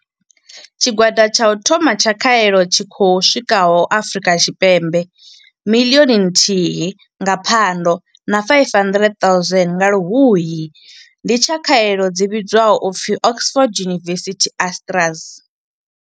Tshigwada tsha u thoma tsha khaelo tshi khou swikaho Afri ka Tshipembe miḽioni nthihi nga Phando na 500 000 nga Luhuhi ndi tsha khaelo dzi vhidzwaho u pfi Oxford University-AstraZ